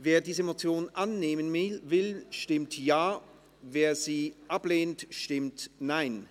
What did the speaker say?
Wer diese Motion annimmt, stimmt Ja, wer diese ablehnt, stimmt Nein.